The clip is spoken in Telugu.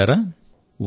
మిత్రులారా